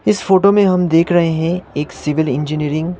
इस फोटो में हम देख रहे हैं एक सिविल इंजीनियरिंग --